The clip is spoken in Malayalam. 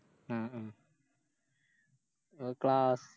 ഉം ഉം എ ക്ലാ